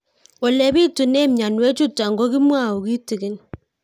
Ole pitune mionwek chutok ko kimwau kitig'ín